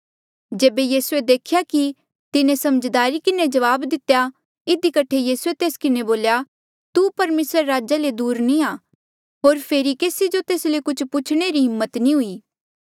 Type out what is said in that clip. जेबे यीसूए देख्या कि तिन्हें समझदारी किन्हें जवाब दितेया इधी कठे यीसूए तेस किन्हें बोल्या तू परमेसरा रे राजा ले दूर नी आ होर फेरी केसी जो तेस ले कुछ होर पूछणे री हिम्मत नी हुई